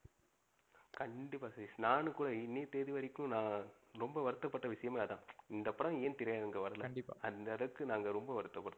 கண்டிப்பா சதீஷ். நானும் கூட இன்னிய தேதி வரைக்கும் நா ரொம்ப வருத்தபட்ட விசயமே அதான். இந்த படம் ஏன் திரை அரங்குல வரல? கண்டிப்பா. அந்த அளவுக்கு நாங்க ரொம்ப வருத்தபடுறோம்.